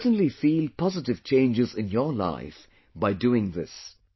You will certainly feel positive changes in your life by doing this